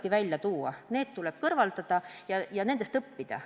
Puudused tulebki välja tuua, need tuleb kõrvaldada ja nendest õppida.